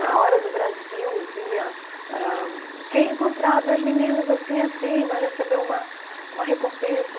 Na Hora do Brasil vinha... Ãh Quem encontrar dois meninos assim e assim vai receber uma uma recompensa.